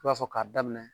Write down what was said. I b'a fɔ k'a daminɛ